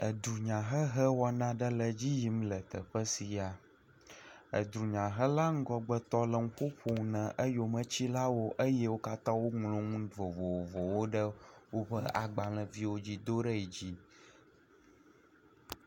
Edunyahehe wɔna aɖe le edzi yim le teƒe sia. Edunyahela ŋgɔgbetɔ le enu ƒom na eyometilawo eye wo katã woŋlɔ nu vovovowo ɖe woƒe agbaleviawo dzi do ɖe yi dzi.